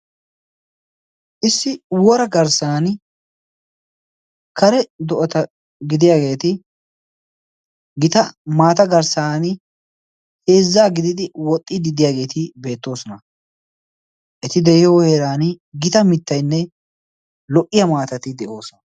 Issi wora garssaan wora do"ata gidiyaageti giita maata garssaan heezza gididi wooxiidi diyaageti beettoosona. eti de'iyoo heeraan gita miitaynne lo"iyaa maatati de"oosona.